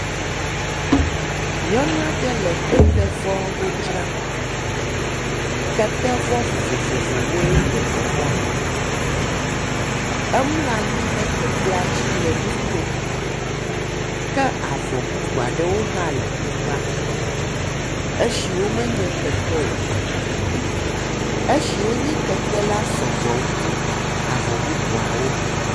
Nyɔnua ɖe le ketevɔwo dzram. Ketevɔ vovovovowoe le teƒea. Emlɔa nyi ɖe ketea dzi le nu kom, ke avɔ bubua ɖewo hã le teƒea, esiwo menye kete o, esiwo nye kete la sɔgbɔ wu avɔ bubuawo.